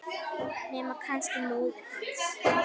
Nema kannski móðir hans.